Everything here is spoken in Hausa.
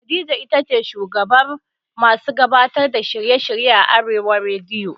Khadija itace shugabar masu gabatar da shirye shirye a arewa rediyo